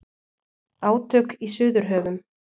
Átök í Suðurhöfum